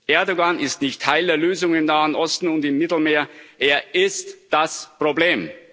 Erdoğan ist nicht Teil der Lösung im Nahen Osten und im Mittelmeer, er ist das Problem!